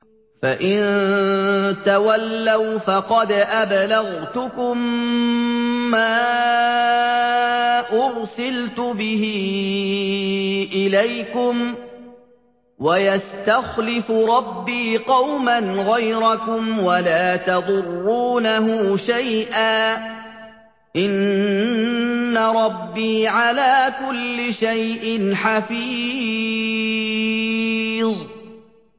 فَإِن تَوَلَّوْا فَقَدْ أَبْلَغْتُكُم مَّا أُرْسِلْتُ بِهِ إِلَيْكُمْ ۚ وَيَسْتَخْلِفُ رَبِّي قَوْمًا غَيْرَكُمْ وَلَا تَضُرُّونَهُ شَيْئًا ۚ إِنَّ رَبِّي عَلَىٰ كُلِّ شَيْءٍ حَفِيظٌ